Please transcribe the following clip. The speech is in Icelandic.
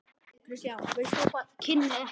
Kynni ekkert.